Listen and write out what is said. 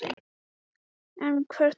En hver er framtíðin hjá Vegamótum?